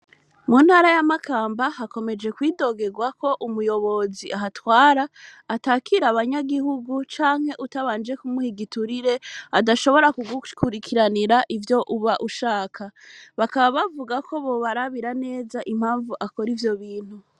Mu ntara ya makamba hakomeje kwidogegwako umuyobozi ahatwara atakira abanyagihugu canke utabanje kumuha igiturire adashobora kugukurikiranira ivyo uba ushaka bakaba bavugako bobarabira neza impanvu akora ivyobintu.